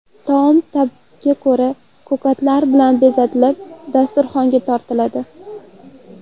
Taom ta’bga ko‘ra ko‘katlar bilan bezatilib, dasturxonga tortiladi.